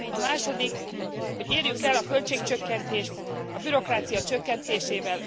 A második érjük el a költségcsökkentést a bürokrácia csökkentésével.